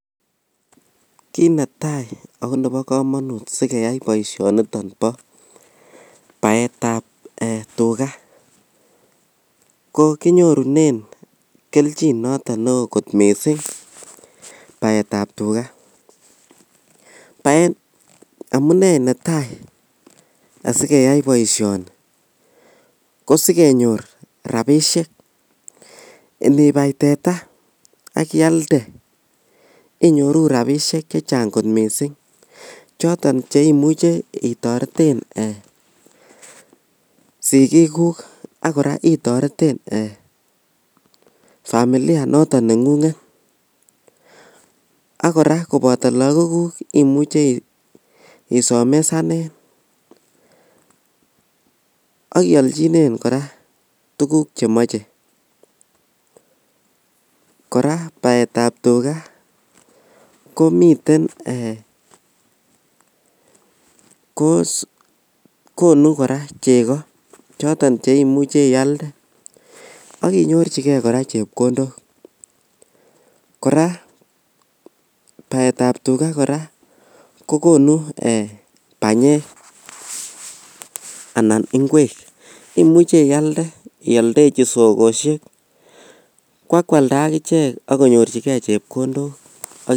Kit netai akonebo komonut sikeyai boishoniton bo baetab tugas kokinyoru keljin noton neo kot missing' baetab tugaa, amune netai asikeyai boishoni kosikenyor rabishek inibai teta ak ialde inyoru rabishek chechang kot missing' choton cheimuche itoreten sigikuk ak koraa itoreten ee familia noton nengunget ak koraa koboto lagokuk imuche isomesanen ak iolchinen koraa tuguk chemoche, koraa baetab tugaa komiten ee konu koraa cheko choton cheimuche ialden ak inyorjigee kòraa chepkondok koraa baetab tugaa koraa kokonu eeh banyek anan inkwek imuche ialde iodechi sokoshek kwakwakda akichek ak konyorjigee chepkondok.